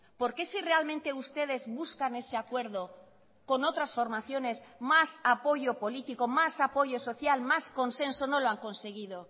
por qué si realmente ustedes buscan ese acuerdo con otras formaciones más apoyo político más apoyo social más consenso no lo han conseguido